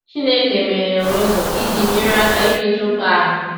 Chineke meghere ụzọ iji nyere aka imeju mkpa ahụ.